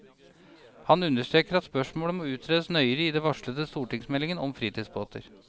Han understreker at spørsmålet må utredes nøyere i den varslede stortingsmeldingen om fritidsbåter.